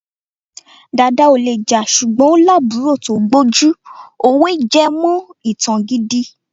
Dàda ò le jà ṣùgbọ́n ó lábùúrò tó gbójú. Òwe jẹ́mọ ìtàn gidi.